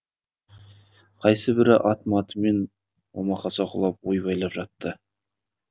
қайсыбірі ат матымен омақаса құлап ойбайлап жатты